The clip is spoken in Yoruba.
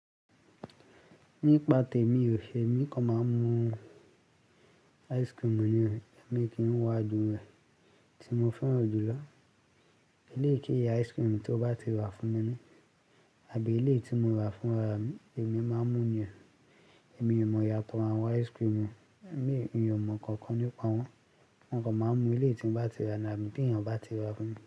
Nípa tèmi o ṣe, èmi kọ máa ń mu ice cream nìyẹn. Èmi kì ń wá ju rẹ̀ tí mo fẹ́ràn jùlọ. Eleyí keyi ice cream tó bá ti rà fún mi àbí eléyì tí mo rà fún ara mi, èmi máa ń mu nìyẹn. Èmi o mọ iyatò àwọn ice cream. Èmi ò mọ̀ kankan nípa wọn. Mọ kan máa ń mu èlèyí tí bá ti rà ni àbí tí ènìyàn bá ti rà fún mi.